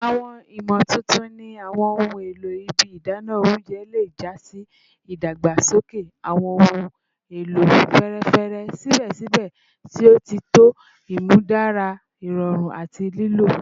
Awọn imotuntun ni awọn ohun elo ibi idana ounjẹ le ja si idagbasoke awọn ohun elo fẹẹrẹfẹ sibẹsibẹ ti o tọ, imudara irọrun ati lilo